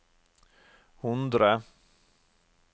hundre